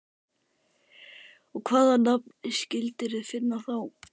Og hvaða nafn skildirðu finna þá?